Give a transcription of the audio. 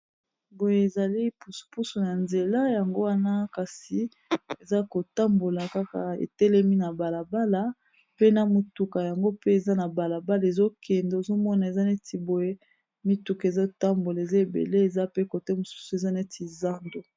boye ezali upusu na nzela yango wana kasi eza kotambola kaka etelemi na balabala pe na mituka yango pe eza na balabala ezokende ozomona eza neti boye mituka ezotambola eza ebele eza pe kote mosusu eza neti zando